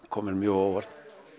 kom mér mjög á óvart